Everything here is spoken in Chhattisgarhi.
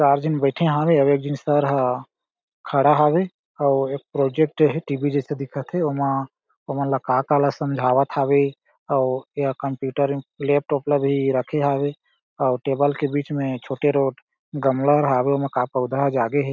चार झन बईठे हावे आउ एक जन सर ह खड़ा हावे आउ एक प्रोजेक्ट हे टी.वी. जैसे दिखत हे उमा उमनला का-का ला समझावत हावे अउ ये कंप्यूटर लैपटॉप ला भी रखे हावे अउ टेबल के बिच में छोटे रोट गमला हावे ओमा का पौधा हर जागे हे।